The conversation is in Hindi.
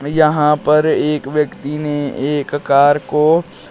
यहां पर एक व्यक्ति ने कार को--